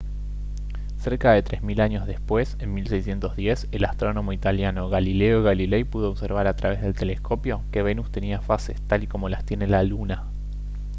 cerca de tres mil años después en 1610 el astrónomo italiano galileo galilei pudo observar a través del telescopio que venus tenía fases tal y como las tiene la luna